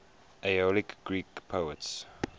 aeolic greek poets